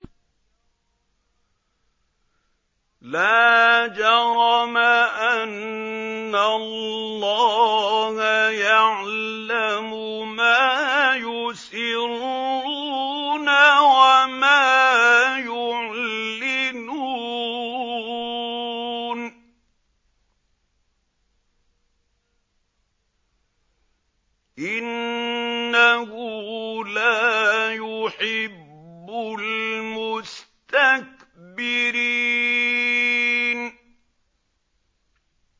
لَا جَرَمَ أَنَّ اللَّهَ يَعْلَمُ مَا يُسِرُّونَ وَمَا يُعْلِنُونَ ۚ إِنَّهُ لَا يُحِبُّ الْمُسْتَكْبِرِينَ